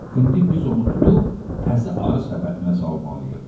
İndi biz onu tutub təzə arı səbətinə salmalıyıq.